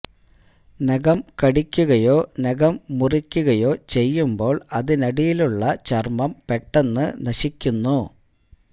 നഖം കടിയ്ക്കുകയോ നഖം മുറിയ്ക്കുകയോ ചെയ്യുമ്പോള് അതിനടിയിലുള്ള ചര്മ്മം പെട്ടെന്ന് നശിക്കുന്നു